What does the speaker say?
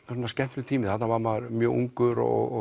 skemmtilegur tími þarna var maður mjög ungur og